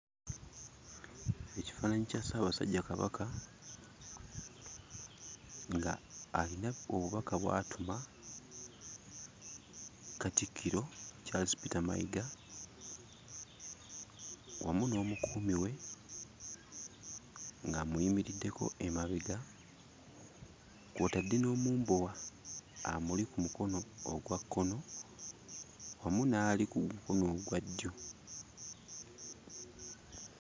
Ekifaananyi kya ssaabasajja Kabaka nga alina obubaka bw'atuma Katikkiro Charles Peter Mayiga, wamu n'omukuumi we ng'amuyimiriddeko emabega, kw'otadde n'omumbowa amuli ku mukono ogwa kkono, wamu n'ali ku mukono ogwa ddyo.